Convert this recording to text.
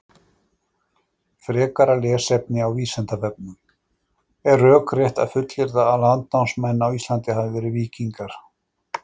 Frekara lesefni á Vísindavefnum: Er rökrétt að fullyrða að landnámsmenn á Íslandi hafi verið víkingar?